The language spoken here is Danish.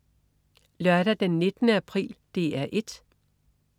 Lørdag den 19. april - DR 1: